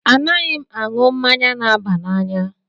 Anaghị m aṅụ mmanya na-aba n'anya